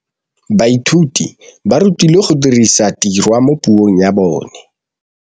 Baithuti ba rutilwe go dirisa tirwa mo puong ya bone.